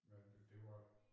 Men det var